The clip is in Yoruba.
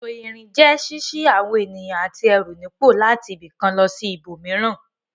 Ètò ìrìn jẹ́ ṣíṣí àwọn ènìyàn àti ẹrù nípò láti ibì kan lọ sí ibòmíràn.